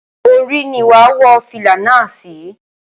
Orí ni wàá wọ fìlà náà sí.